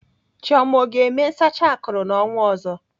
Chioma ọ ga-eme nsacha akụrụ n'ọnwa ọzọ?